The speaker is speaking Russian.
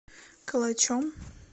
калачом